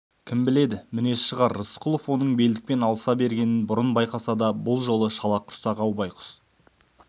кім біледі мінез шығар рысқұлов оның белдікпен алыса бергенін бұрын байқаса да бұл жолы шалақұрсақ-ау байғұс